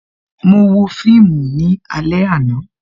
Mo wo fíìmù ní alẹ àná